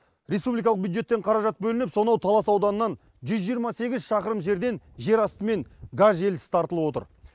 республикалық бюджеттен қаражат бөлініп сонау талас ауданынан жүз жиырма сегіз шақырым жерден жер астымен газ желісі тартылып отыр